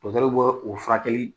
Dɔtɛriw bɛ o furakeli